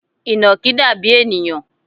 Ìnàkí dàbí ènìyàn